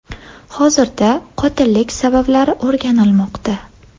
Hozirda qotillik sabablari o‘rganilmoqda.